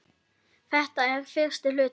Þetta er fyrsti hluti.